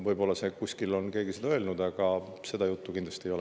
Võib-olla kuskil on keegi seda öelnud, aga seda juttu kindlasti ei ole.